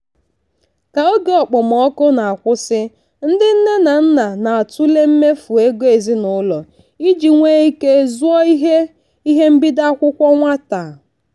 ka oge okpomọkụ na-akwụsị ndị nne na nna na-atụle mmefu ego ezinụlọ iji nwee ike zụọ ihe ihe mbido akwụkwọ nwata.